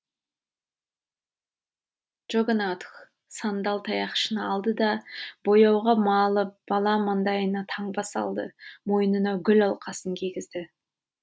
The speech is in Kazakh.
джогонатх сандал таяқшаны алды да бояуға малып бала маңдайына таңба салды мойнына гүл алқасын кигізді